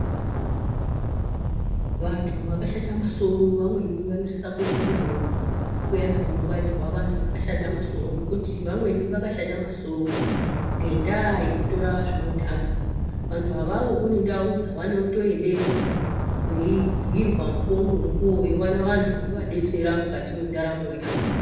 Vantu vakashata masoro vamweni vanosisa kuendwa navo kuyana kunongwarirwa vantu vayana vakashata masoro ngendaa yekutora zvinodhaka. Vantu avavo vane ndau dzinoendeswa veibhiirwa mukuwo ngemukuwo veiona vantu vanovadetsera mukati mwendaramo yavo.